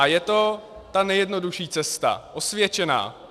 A je to ta nejjednodušší cesta, osvědčená.